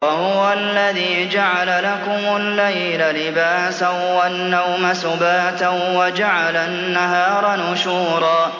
وَهُوَ الَّذِي جَعَلَ لَكُمُ اللَّيْلَ لِبَاسًا وَالنَّوْمَ سُبَاتًا وَجَعَلَ النَّهَارَ نُشُورًا